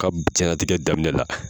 Ka diɲɛnatigɛ daminɛ la